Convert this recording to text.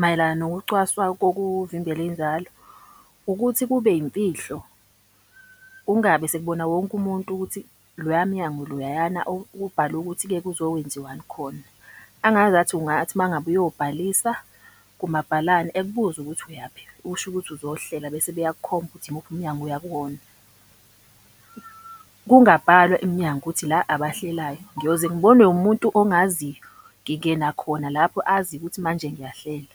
mayelana nokucwaswa kokuvimbela inzalo ukuthi kube yimfihlo. Kungabe sekubona wonke umuntu ukuthi loya mnyango loyayana ubhalwe ukuthi-ke kuzokwenziwani khona. Angazathi ungathi uma ngabe uyobhalisa kumabhalane ekubuze ukuthi uyaphi, usho ukuthi uzohlela bese beyakukhomba ukuthi imuphi umnyango oya kuwona. Kungabhalwa emnyango ukuthi la abahlelayo, ngiyoze ngibonwe umuntu ongaziyo ngingena khona lapho azi ukuthi manje ngiyahlela.